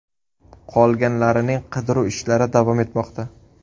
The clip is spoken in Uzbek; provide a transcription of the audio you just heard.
Qolganlarining qidiruv ishlari davom etmoqda.